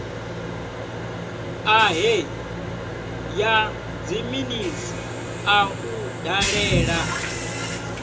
ṱahe ya dziminisiṱa u dalela